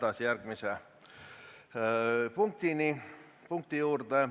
Läheme järgmise punkti juurde.